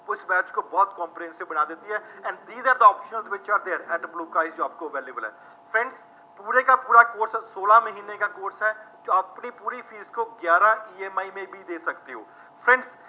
ਕੁੱਛ ਬੈਚ ਕੋ ਬਹੁਤ comprehensive ਬਣਾ ਦੇਤੀ ਹੈ, and these are the optional which are there NET ਮਲੂਕਾ ਜੋ ਆਪਕੋ available ਹੈ, friends ਪੂਰੇ ਕਾ ਪੂਰਾ ਕੋਰਸ ਸੋਲਾਂ ਮਹੀਨੇ ਕਾ ਕੋਰਸ ਹੈ, ਤੋਂ ਆਪਕੇ ਲਿਏ ਥੋੜ੍ਹੀ ਫੀਸ ਤੋਂ ਗਿਆਰਾਂ EMI ਮੇਂ ਵੀ ਦੇ ਸਕਤੇ ਹੋ।